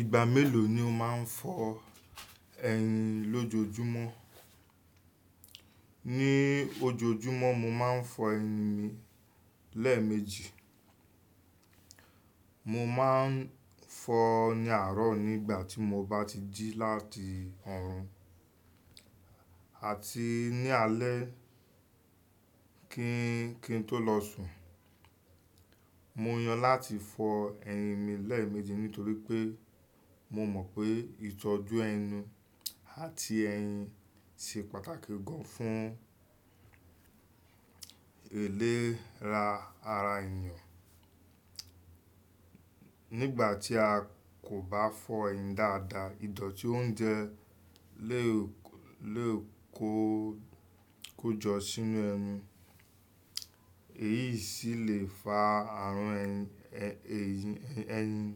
Ìgbà méló ni o máa ń fọ ẹyín lójoojúmọ́? Ni ojoojúmọ́ mo máa ń fọ ẹnu mi lẹ́ẹ̀mejì. Mo máa ń fọ ní àárọ̀ nígbà tí mo bá ti jí láti ọrùn àti ní alé kí ń, kí ń tó lọ sùn. Mo yàn láti fọ ẹyín mi lẹ́ẹ̀mejì nítorí pé mo mọ̀ pé ìtọ́jú ẹnu àti ẹyín ṣe pàtàkì gan fún ìlera ara èèyàn. Nígbà tí a kò bá fọ ẹyín dáadáa, ìdọ̀tí oúnjẹ lè lè kó, kó jọ sínú ẹyín. Èyí sì lè fa àrùn ẹyìn, ẹ̀yìn,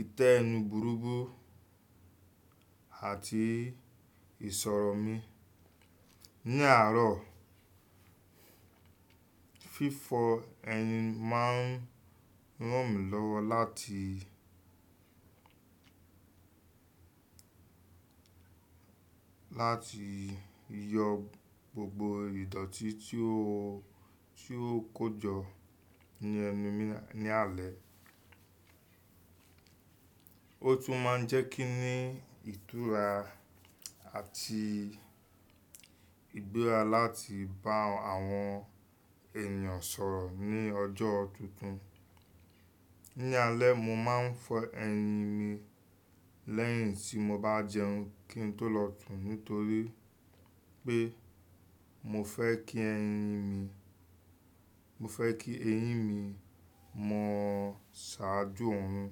ìtẹ́ ẹnu burúbú àti ìṣòro mi. Ní àárọ̀, fífọ ẹyín máa ń ràn mí lọ́wọ́ láti, láti yọ gbogbo ìdọ̀tí tí ó, tí ó kó jọ ní ẹnu mi ní alẹ́. Ó tún máa ń jẹ́ kí ń ní ìtura àti ìgbéra láti bá àwọn èèyàn sọ̀rọ̀ ní ọjọ́ tuntun. Ní alẹ́, mo máa ń fọ ẹyín mi lẹ́yìn tí mo bá jẹun kí n tó lọ sùn nítorí pé mo fẹ́ kí ẹyín mi, mo fẹ́ kí ẹyín mi mọ ṣàájú oòrùn.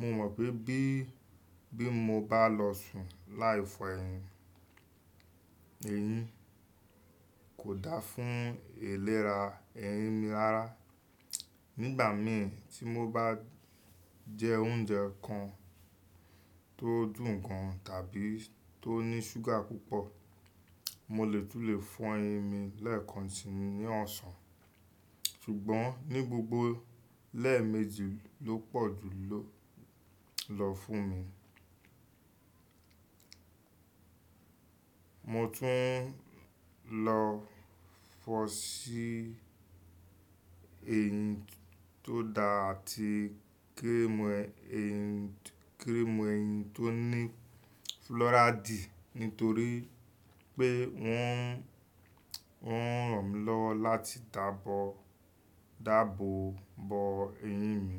Mo mọ̀ pé bí, bí mo bá lọ sùn láì fọ ẹyìn, ẹyín kò dáa fún ìlera ẹyín mi lára. Nígbà mìí tí mo bá jẹ oúnjẹ kan tó dùn gan tàbí tó ní ṣúgà púpọ̀, mo lè tún lè fọ ẹyín mi lẹ́ẹ̀kan sì ní ọ̀sán. Ṣùgbọ́n ní gbogbo lẹ́ẹ̀mejì ló pọ̀jù ló lọ fún mi. Mo tún lọ fọ sí eyín tó dá àti cream eyín, cream eyín tó ní flúráídì nítorí pé wọ́n, wọ́n ràn mí lọ́wọ́ láti dábò, dábò bo ẹyín mi.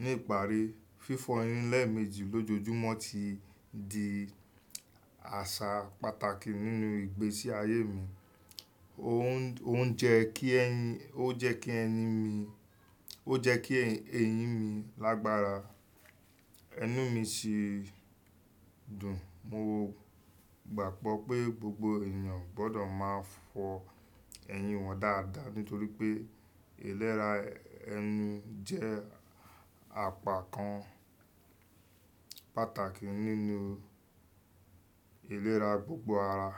Ní ìparí, fífọ ẹyín lẹ́ẹ̀mejì lójoojúmọ́ ti di àṣà pàtàkì nínú ìgbésí ayé mi. Ó ń jẹ kí ẹyín, ó jẹ́ kí ẹni mi, ó jẹ́ kí ẹyín mi lágbára, ẹnu mi sì dùn. Mo gbàgbọ́ pé gbogbo èèyàn gbọ́dọ̀ máa fọ ẹyín wọn dáadáa nítorí pé ìlera Eyín je apá kan pàtàkì nínú ìlera pupo àrà.